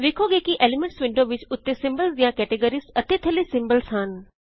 ਵੇਖੋਗੇ ਕਿ elements window ਵਿੱਚ ਉੱਤੇ ਸਿੰਬਲਜ਼ ਦਿਆਂ ਕੈਟੇਗ੍ਰੀਆਂ ਅਤੇ ਥੱਲੇ ਸਿੰਬਲਜ਼ ਹਨ